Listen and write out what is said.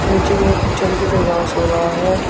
नीचे में छोटे छोटे घास उगा है।